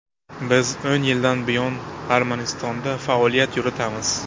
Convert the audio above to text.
Biz o‘n yildan buyon Armanistonda faoliyat yuritamiz.